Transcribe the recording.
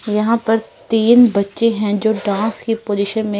यहाँ पर तीन बच्चे हैं जो डाँक की पोज़िशन में--